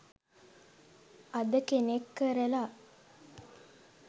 අද කෙනෙක් කරලා